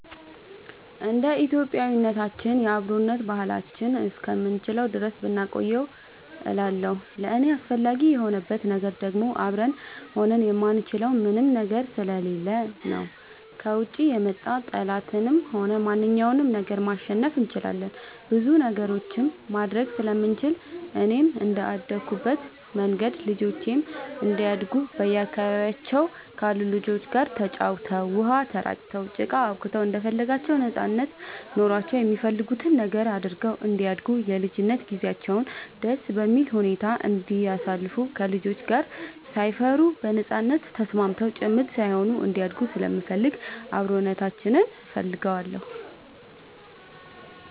እንደ ኢትዮጵያዊነታችን የአብሮነት ባህላችንን እስከምንችለው ድረስ ብናቆየው እላለሁኝ። ለእኔ አስፈላጊ የሆንበት ነገር ደግሞ አብረን ሆነን የማንችለው ምንም ነገር ስለሌለ ነው። ከውጭ የመጣ ጠላትንም ሆነ ማንኛውንም ነገር ማሸነፍ እንችላለን ብዙ ነገሮችንም ማድረግ ስለምንችል፣ እኔም እንደአደኩበት መንገድ ልጆቼም እንዲያድጉ በአካባቢያቸው ካሉ ልጆች ጋር ተጫውተው, ውሃ ተራጭተው, ጭቃ አቡክተው እንደፈለጋቸው ነጻነት ኖሯቸው የሚፈልጉትን ነገር አድርገው እንዲያድጉ የልጅነት ጊዜያቸውን ደስ በሚል ሁኔታ እንዲያሳልፉ ከልጆች ጋር ሳይፈሩ በነጻነት ተስማምተው ጭምት ሳይሆኑ እንዲያድጉ ስለምፈልግ አብሮነታችንን እፈልገዋለሁ።